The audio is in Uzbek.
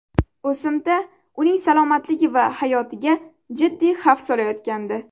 O‘simta uning salomatligi va hayotiga jiddiy xavf solayotgandi.